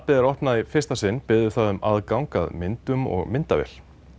er opnað í fyrsta sinn biður það um aðgang að myndum og myndavél